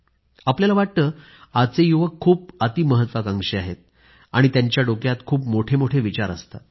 आपल्याला वाटतं आजचे युवक खूप अति महत्वाकांक्षी आहेत आणि त्यांच्या डोक्यात खूप मोठमोठे विचार असतात